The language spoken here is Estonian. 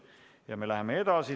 Ja me läheme edasi.